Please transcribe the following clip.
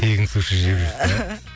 тегін суши жеп жүрсіз бе